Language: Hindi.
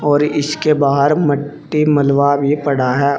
और इसके बाहर मट्टी मलवा भी पड़ा है।